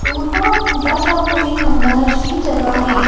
टूटा फूटा सा कोई खंडहर सी जगह है यह